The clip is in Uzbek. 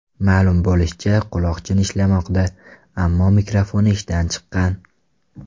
Ma’lum bo‘lishicha, quloqchin ishlamoqda, ammo mikrofoni ishdan chiqqan.